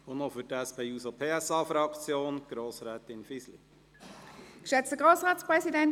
Für die SP-JUSO-PSA-Fraktion: Grossrätin Fisli.